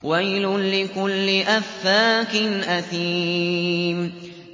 وَيْلٌ لِّكُلِّ أَفَّاكٍ أَثِيمٍ